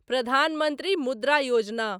Pradhan Mantri Mudra Yojana